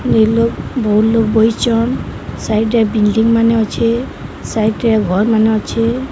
ବହୁଲ ଲୋକ୍ ବଇଛନ ସାଇଡ ରେ ବିଲଣ୍ଡିଂ ମାନେ ଅଛେ ସାଇଡ ରେ ଘର୍ ମାନେ ଅଛେ।